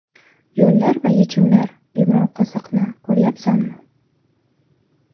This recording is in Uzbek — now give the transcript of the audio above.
Yo‘llar va yechimlar Yumronqoziqni ko‘ryapsanmi?